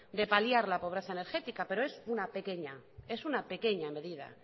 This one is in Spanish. de paliar la pobreza energética pero es una pequeña medida